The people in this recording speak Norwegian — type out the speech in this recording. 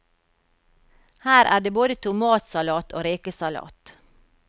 Her er det både tomatsalat og rekesalat.